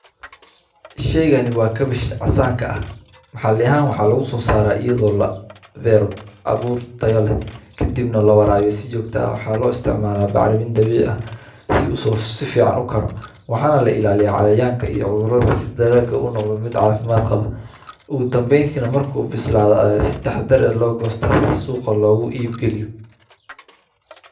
Sheygani waa kawash casanka ah maxali ahaan waxa lagu so saraa, iyadoo labero abur tayo leh kadibna lawarawiyo si jogta ah waxana lo istimalaa bacrimin dabici ah si u sifican u karo , waxana laga ilaliyaa cayayanka iyo cudurada marku bislado ayaa si taxadar ah loo gosta si suqa logu iib geliyo.